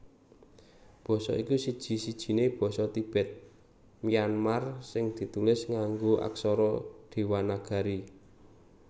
Basa iki siji sijiné basa Tibet Myanmar sing ditulis nganggo aksara Dewanagari